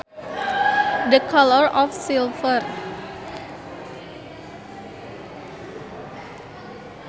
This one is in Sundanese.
The colour of silver